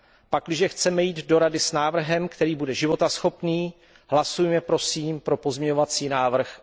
Pakliže chceme jít do Rady s návrhem, který bude životaschopný, hlasujme prosím pro pozměňovací návrh